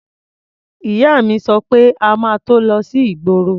Ìyá mi sọ pé a máa tó kó lọ sí ìgboro.